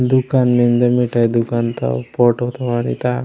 दुकान मेन्दे मिठाई दुकान ता फोटो ता वाटितां --